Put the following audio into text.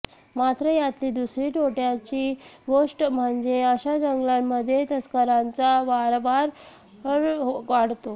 मात्र यातली दुसरी तोटयाची गोष्ट म्हणजे अशा जंगलांमध्ये तस्करांचा वावर वाढतो